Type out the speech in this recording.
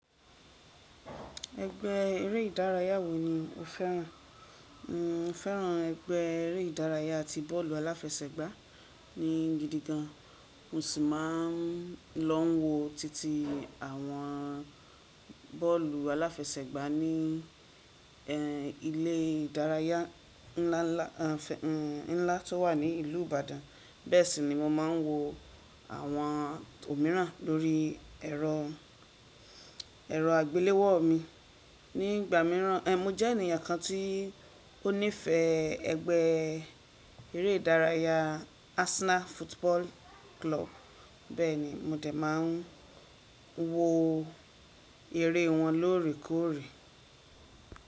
Ẹgbẹ́ eré ìdárayá wò ni o fẹ́ràn? Mo fẹ́ràn ẹgbẹ́ eré ìdárayá ti bọ́ọ̀lù aláfẹsẹ̀gbá ni gidigan. Mo sì máa n lọ n wo titi àwọn bọ́ọ̀lù aláfẹsẹ̀gbá ní e ilé ìdárayá nlá nlá nlá tó wà ní ìlú Ìbàdàn. Bẹ́ẹ̀ sì ni mo máa n wo àwọn òmíràn lórí ẹ̀rọ, ẹ̀rọ àgbéléwò mi. Nígbà míràn, e mo jẹ́ ènìyàn kan tí ó nífẹ̀ẹ́ ẹgbẹ́ eré ìdárayá Arsenal Football Club. Bẹ́ẹ̀ ni, mo dé máa n wo eré wọn lóòrèkóòrè.